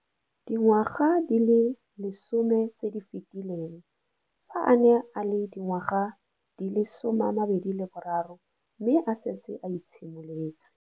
Dingwaga di le 10 tse di fetileng, fa a ne a le dingwaga di le 23 mme a setse a itshimoletse.